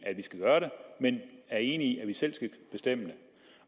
men er enig i at vi selv skal bestemme det